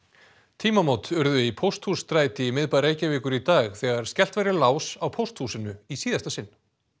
tímamót urðu í Pósthússtræti í miðbæ Reykjavíkur í dag þegar skellt var í lás á pósthúsinu í síðasta sinn